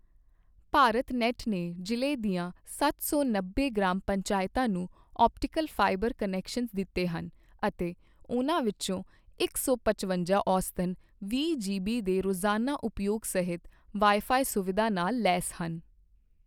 ਭਾਰਤਨੈੱਟ ਨੇ ਜ਼ਿਲ੍ਹੇ ਦੀਆਂ ਸੱਤ ਸੌ ਨੱਬੇ ਗ੍ਰਾਮ ਪੰਚਾਇਤਾਂ ਨੂੰ ਔਪਟੀਕਲ ਫਾਈਬਰ ਕਨੈਕਸ਼ਨ ਦਿੱਤੇ ਹਨ ਅਤੇ ਉਨ੍ਹਾਂ ਵਿੱਚੋਂ ਇਕ ਸੌ ਪਚਵੰਜਾ ਔਸਤਨ ਵੀਹ ਜੀਬੀ ਦੇ ਰੌਜ਼ਾਨਾ ਉਪਯੋਗ ਸਹਿਤ ਵਾਈਫਾਈ ਸੁਵੀਧਾ ਨਾਲ ਲੈਸ ਹਨ।